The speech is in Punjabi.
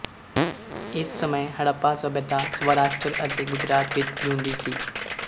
ਇਸ ਸਮੇਂ ਹੜੱਪਾ ਸਭਿਅਤਾ ਸਵਾਰਾਸ਼ਟਰ ਅਤੇ ਗੁਜਰਾਤ ਵਿੱਚ ਜਿਉਂਦੀ ਸੀ